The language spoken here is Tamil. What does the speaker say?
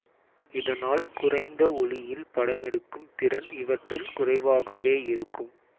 இதனால் குறைந்த ஒளியில் படமெடுக்கும் திறன் இவற்றில் குறைவாகவே இருக்கும்